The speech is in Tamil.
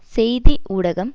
செய்தி ஊடகம்